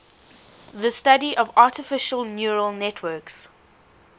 the study of artificial neural networks